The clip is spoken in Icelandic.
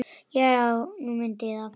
Já, nú mundi ég það.